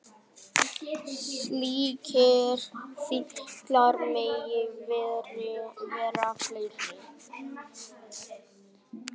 Slíkir fíklar mega vera fleiri.